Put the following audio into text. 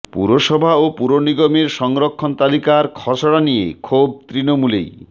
পুরসভা ও পুরনিগমের সংরক্ষণ তালিকার খসড়া নিয়ে ক্ষোভ তৃণমূলেই